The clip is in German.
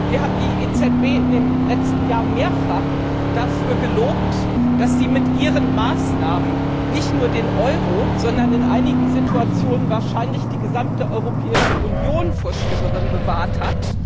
Wir haben die EZB in den letzten Jahren mehrfach dafür gelobt, dass sie mit ihren Maßnahmen nicht nur den Euro, sondern in einigen Situationen wahrscheinlich die gesamte Europäische Union vor Schlimmerem bewahrt hat.